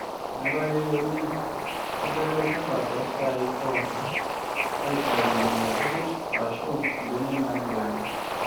metaa keyieuni nedoti olchamba too saii pooki aaitau nena kujit aashu benek naabulaki